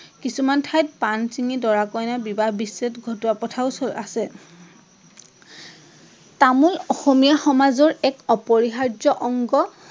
কিছুমান ঠাইত পাণ চিঙি বিবাহ বিচ্ছেদ ঘটোৱা প্ৰথাও আছে। তামোল অসমীয়া সমাজৰ এক অপৰিহাৰ্য অংগ